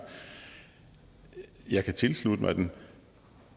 jeg kan tilslutte mig den